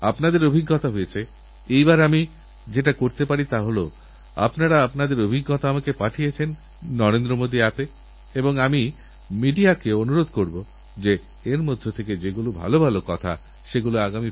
আমিআপনাদের আমন্ত্রণ জানাচ্ছি আপনাদের মনে যে ভাবনা আসছে যেটা আপনারা মনে করেনআপনাদের প্রতিনিধি হিসেবে আপনাদের প্রধান সেবক হিসেবে আমার লালকেল্লা থেকে বলাদরকার সেটা আমাকে অবশ্যই লিখে পাঠান মতামত দিন পরামর্শ দিন নতুন চিন্তাভাবনানিয়ে আসুন